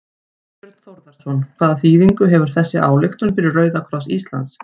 Þorbjörn Þórðarson: Hvaða þýðingu hefur þessi ályktun fyrir Rauða kross Íslands?